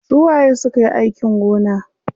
Su waye sukayi aikin gona?